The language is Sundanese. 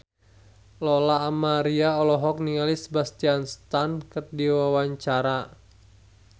Lola Amaria olohok ningali Sebastian Stan keur diwawancara